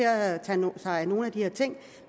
at tage sig af nogle af de her ting